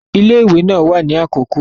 Ile-iwe naa wa ni akoko